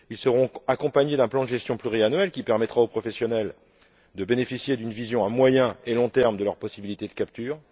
Ils seront accompagnés d'un plan de gestion pluriannuel qui permettra aux professionnels de bénéficier d'une vision à moyen et long termes de leurs possibilités de captures.